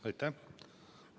Aitäh!